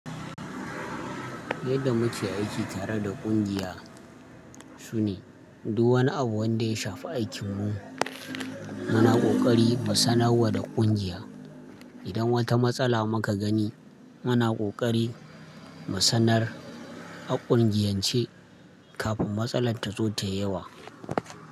Yadda muke aiki tare da ƙungiya sune duk wani abu wanda ya shafi aikinmu muna ƙoƙari mu sanar wa da ƙungiya. Idan wata matsala muka gani muna ƙoƙari mu sanar a ƙungiyance kafin matsalar ta zo ta yawa.